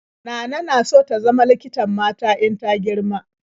Nana na so ta zama likitan mata in ta girma.